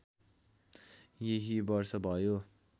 यही वर्ष भयो